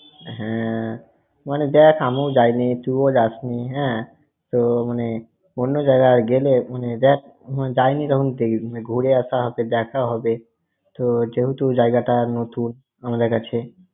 হ্যাঁ, মানে দেখ আমি যাইনি, তুই ওঁ যাসনি হ্যাঁ তো মানে অন্য জায়গা গেলে মানে দেখ যাইনি ঘুরে আশা হবে, দেখা হবে। তোর যেহেতু জায়গাটা নতুন, আমাদের কাছে।